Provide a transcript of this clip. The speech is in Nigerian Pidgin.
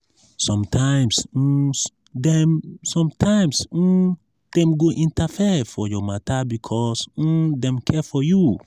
sometimes um dem sometimes um dem go interfere for your matter because um dem care for you.